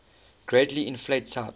greatly inflate type